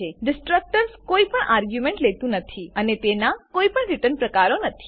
destructor કોઈપણ argument લેતું નથી અને તેનાં કોઈપણ રીટર્ન પ્રકારો નથી